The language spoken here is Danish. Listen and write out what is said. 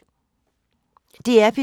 DR P3